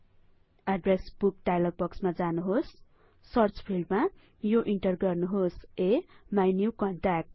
address book डाइलगमा जानुहोस search फिल्डमा यो इन्टर गर्नुहोस अमिन्युकन्ट्याक्ट